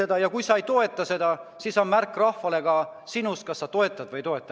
Aga kui sa ei toeta seda, siis on see rahvale antav märk ka sinust: kas sa toetad või ei toeta.